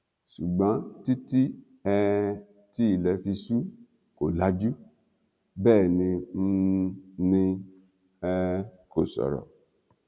ṣùgbọn títí um tí ilẹ fi ṣú kò lajú bẹẹ ni um ni um kò sọrọ